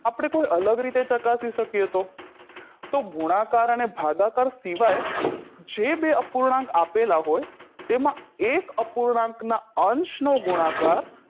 આપણે કોઈ અલગ રીતે ચકાસી શકીએ તો તો ગુણાકાર અને ભાગાકાર સિવાય જે બે અપૂર્ણાંક આપેલા હોય તેમાં એક અપૂર્ણાંક ના અંશનો ગુણાકાર